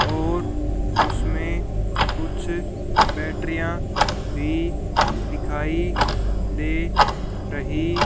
और उसमें कुछ बैटरियां भी दिखाई दे रही--